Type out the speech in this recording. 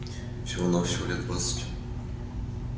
всего-навсего лет двадцать